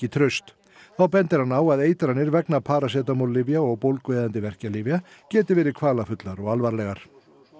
traust þá bendir hann á að eitranir vegna parasetamóllyfja og bólgueyðandi verkjalyfja geti verið kvalafullar og alvarlegar